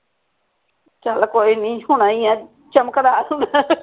ਚੱਲ ਕੋਈ ਨਹੀਂ ਹੋਣਾ ਈ ਆ ਚਮਕਦਾ